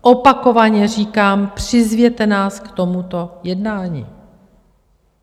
Opakovaně říkám, přizvěte nás k tomuto jednání.